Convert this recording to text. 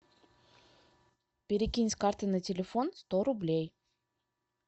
перекинь с карты на телефон сто рублей